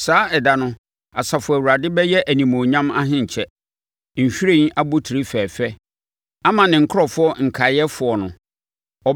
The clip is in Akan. Saa ɛda no Asafo Awurade bɛyɛ Animuonyam ahenkyɛ, nhwiren abotire fɛfɛ ama ne nkurɔfoɔ nkaeɛfoɔ no.